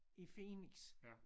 I Phoenix